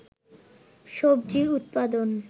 সবজির উৎপাদন